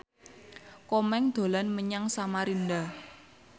Komeng dolan menyang Samarinda